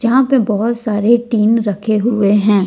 जहाँ पे बहुत सारे टीन रखे हुए हैं।